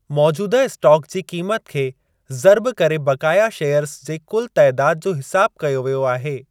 मौजूदह स्टॉक जी क़ीमति खे ज़र्ब करे बक़ाया शेयर्ज़ जे कुल तइदाद जो हिसाब कयो वियो आहे।